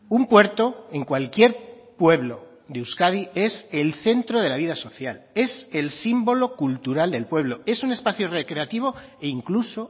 un puerto en cualquier pueblo de euskadi es el centro de la vida social es el símbolo cultural del pueblo es un espacio recreativo e incluso